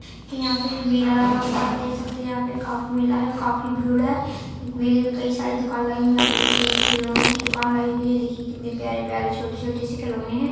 यहाँ पे मेला लगा हुआ आप देख सकते है यहाँ पे काफी मेला है और काफी भीड़ है इस मेले में कही सारी दूकान लायी है यहाँ पे देखिये ये खिलोनो कि दूकान लायी हुई है ये देखिए कितने प्यारे प्यारे छोटे छोटे से खिलोने है।